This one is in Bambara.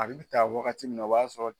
A bɛ taa wagati min na o b'a sɔrɔ